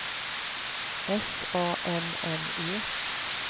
S A M M E